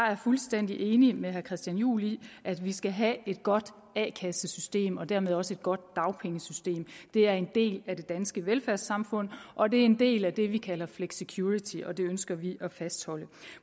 er fuldstændig enig med herre christian juhl i at vi skal have et godt a kassesystem og dermed også et godt dagpengesystem det er en del af det danske velfærdssamfund og det er en del af det som vi kalder flexicurity og det ønsker vi at fastholde